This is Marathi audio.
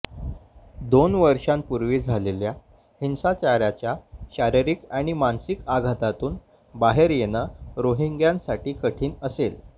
दोन वर्षांपूर्वी झालेल्या हिंसाचाराच्या शारीरिक आणि मानसिक आघातातून बाहेर येणं रोहिंग्यासाठी कठीण असेल